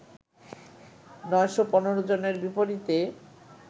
৯১৫ জনের বিপরীতে